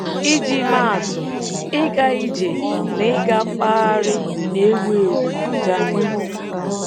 Iji maa atụ, ịga ije na ịga mkpagharị na-ewu ewu na Germany.